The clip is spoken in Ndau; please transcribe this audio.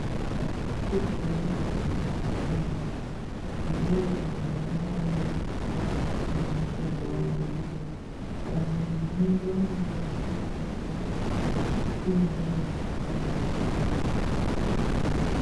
Dando rekupedzisira redzidzo rakakosha maningi ngokuti ndoo dando mwana paanodzidziswa ngezvemushando waanoda kuzoita dando iri rinoendwa nhemwana unenge apedza dando rekutanga uye unenge apase dando rechipiri.